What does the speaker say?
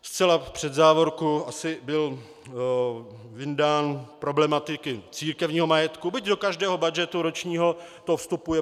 Zcela před závorku asi byla vyndána problematika církevního majetku, byť do každého budgetu ročního to vstupuje.